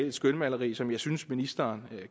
et skønmaleri som jeg synes ministeren